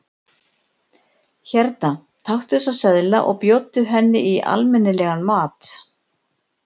Hérna, taktu þessa seðla og bjóddu henni í almenni- legan mat.